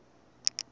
ticondzo ta huku